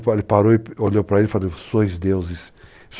Então ele parou e olhou para ele e falou, sois deuses.